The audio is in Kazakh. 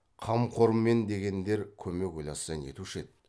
қамқорымен дегендер көмек ойласа нетуші еді